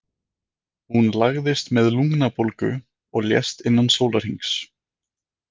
Hún lagðist með lungnabólgu og lést innan sólarhrings.